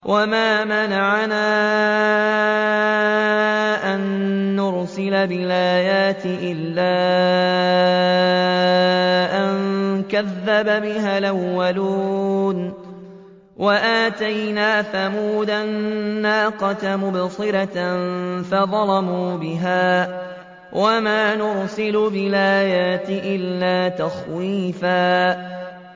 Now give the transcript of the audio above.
وَمَا مَنَعَنَا أَن نُّرْسِلَ بِالْآيَاتِ إِلَّا أَن كَذَّبَ بِهَا الْأَوَّلُونَ ۚ وَآتَيْنَا ثَمُودَ النَّاقَةَ مُبْصِرَةً فَظَلَمُوا بِهَا ۚ وَمَا نُرْسِلُ بِالْآيَاتِ إِلَّا تَخْوِيفًا